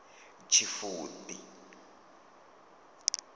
tshifudi